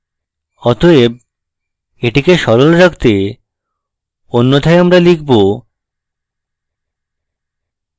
অতএব এটিকে সরল রাখতে অন্যথায় আমরা লিখব: